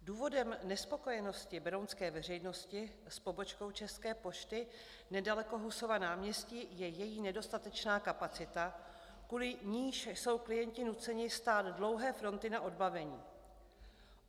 Důvodem nespokojenosti berounské veřejnosti s pobočkou České pošty nedaleko Husova náměstí je její nedostatečná kapacita, kvůli níž jsou klienti nuceni stát dlouhé fronty na odbavení.